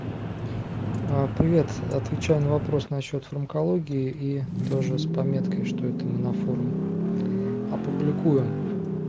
а привет отвечаю на вопрос насчёт фармакологии и тоже с пометкой что это мы на форум опубликуем